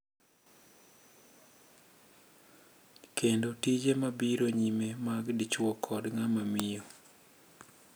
Kendo tije mabiro nyime mag dichwo kod ng'ama miyo.